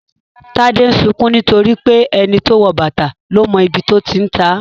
Tade ń sunkún nítorí pé "ẹni tó wọ bàtà ló mọ ibi tó ti ń ta á "